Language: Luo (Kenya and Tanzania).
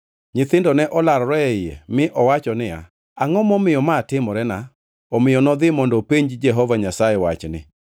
Nyithindo ne olarore e iye mi nowacho niya, “Angʼo momiyo ma timorena?” Omiyo nodhi mondo openj Jehova Nyasaye wachni.